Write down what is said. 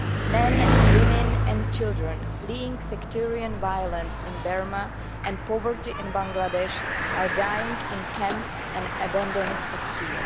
Men, women and children fleeing sectarian violence in Burma and poverty in Bangladesh are dying in camps and abandoned at sea.